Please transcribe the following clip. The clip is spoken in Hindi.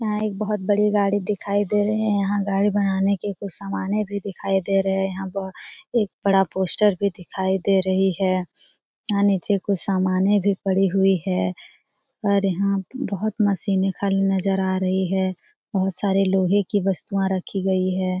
यहां एक बहुत बड़ी गाड़ी दिखाई दे रही है यहां गाड़ी बनाने के कुछ सामाने भी दिखाई दे रहे है यहां बहुत एक बड़ा पोस्टर भी दिखाई दे रही है यहां नीचे कुछ सामाने भी पड़ी हुई है और यहां बहुत मशीने खाली नजर आ रही है बहुत सारे लोहे की वस्तुआ रखी गई है।